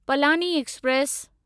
Palani express